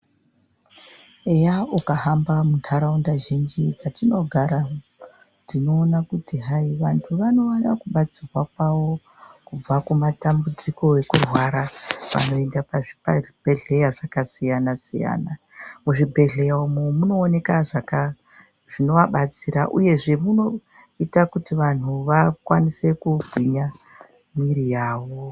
Eya ukahamba muntaraunda zhinji dzakatinogara tinoona kuti hayi vanhu vanowana kubatsirwa kwavo kubva kumatambudziko ekurwara vanoenda pazvibhehleya zvakasiyana siyana. Muzvibhehleya umu munooneka zvinovabatsira uyezve munoita kuti vanhu vakasike kugwinya mwiri yavo.